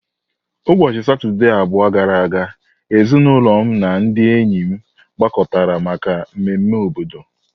Ụbọchị Satọde abụọ gara aga, ezinụlọ m na ndị enyi m gbakọtara maka mmemme obodo.